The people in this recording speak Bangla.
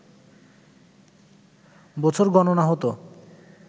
বছর গণনা হত